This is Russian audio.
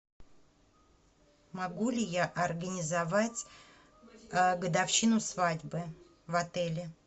могу ли я организовать годовщину свадьбы в отеле